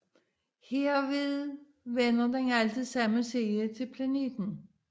Derved vender den altid samme side til planeten